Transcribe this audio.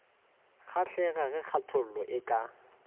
kgahlega ge kgathola e ka